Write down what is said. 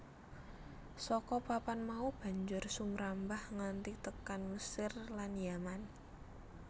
Saka papan mau banjur sumrambah nganti tekan Mesir lan Yaman